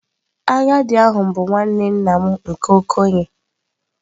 Agadi ahu bu nwanne nna m nke okenye.